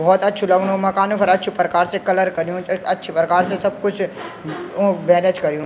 बहौत अच्छु लगणु मकान फर अच्छु परकार से कलर कर्युं च अच्छी परकार से सब कुछ उंक मैनेज कर्युं।